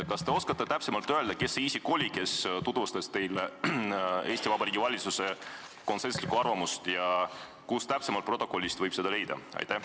Kas te oskate täpsemalt öelda, kes see oli, kes tutvustas teile Eesti Vabariigi valitsuse konsensuslikku arvamust ja kust protokollist võib seda leida?